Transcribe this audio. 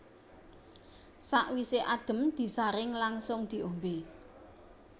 Sawisé adhem disaring langsung diombé